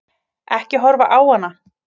Ekki horfa á hana!